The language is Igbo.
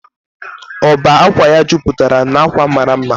ọbá ákwà ya jupatara na akwa mara mma